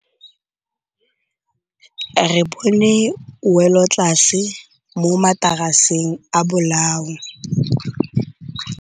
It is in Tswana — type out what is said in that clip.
Re bone wêlôtlasê mo mataraseng a bolaô.